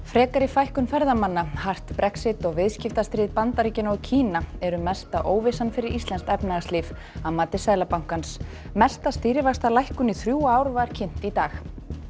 frekari fækkun ferðamanna hart Brexit og viðskiptastríð Bandaríkjanna og Kína eru mesta óvissan fyrir íslenskt efnahagslíf að mati Seðlabankans mesta stýrivaxtalækkun í þrjú ár var kynnt í dag